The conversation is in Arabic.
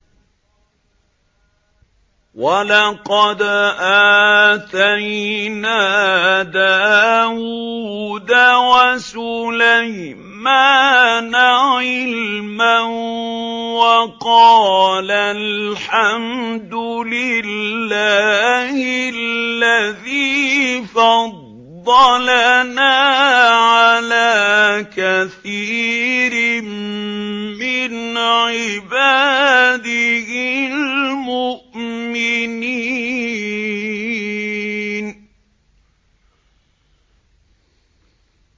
وَلَقَدْ آتَيْنَا دَاوُودَ وَسُلَيْمَانَ عِلْمًا ۖ وَقَالَا الْحَمْدُ لِلَّهِ الَّذِي فَضَّلَنَا عَلَىٰ كَثِيرٍ مِّنْ عِبَادِهِ الْمُؤْمِنِينَ